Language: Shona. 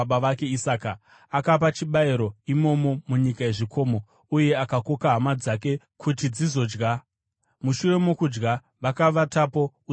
Akapa chibayiro imomo munyika yezvikomo uye akakoka hama dzake kuti dzizodya. Mushure mokudya vakavatapo usiku ihwohwo.